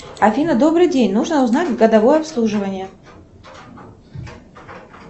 афина добрый день нужно узнать годовое обслуживание